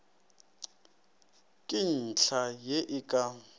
ke ntlha ye e ka